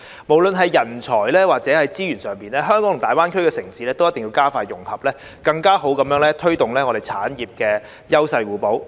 不論是人才或資源上，香港與大灣區城市都需要加快融合，更好地推動產業優勢互補。